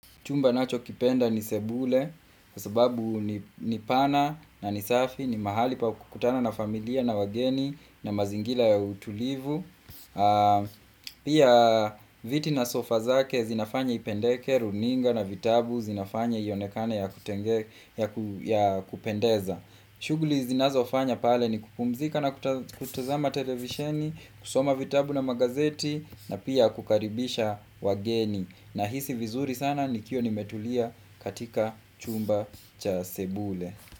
Chumba nachokipenda ni sebule, kwa sababu ni pana na ni safi, ni mahali pa kukutana na familia na wageni, na mazingira ya utulivu. Pia viti na sofa zake zinafanya ipendeke, runinga na vitabu, zinafanya ionekane ya kupendeza. Shughuli zinazofanya pale ni kupumzika na kutazama televisheni, kusoma vitabu na magazeti, na pia kukaribisha wageni. Nahisi vizuri sana nikiwa nimetulia katika chumba cha sebule.